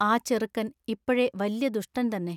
ആ ചെറുക്കൻ ഇപ്പൊഴെ വല്യ ദുഷ്ടൻ തന്നെ.